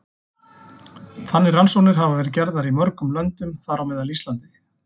Þannig rannsóknir hafa verið gerðar í mörgum löndum, þar á meðal á Íslandi.